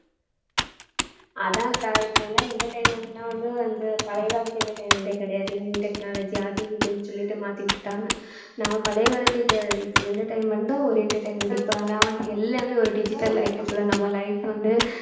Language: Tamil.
அதான்கா இப்ப எல்லாம் entertainment னா வந்து வந்து பழைய காலத்து entertainment ஏ கிடையாது new technology அது இதுனு சொல்லிட்டு மாத்திவிட்டுடாங்க நாம பழைய காலத்து அஹ் இது entertainment உம் தான் ஒரு entertainment இப்ப எல்லாம் வந்து எல்லாமே ஒரு digital life குள்ள நம்ம life வந்து